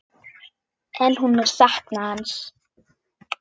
En hún mun sakna hans.